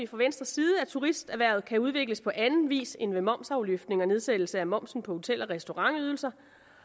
fra venstres side at turisterhvervet kan udvikles på anden vis end ved momsafløftning og nedsættelse af momsen på hotel og restaurantydelser